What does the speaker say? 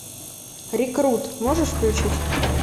рекрут можешь включить